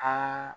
An